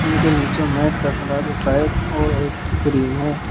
उनके नीचे मैट का कलर और ग्रीन है।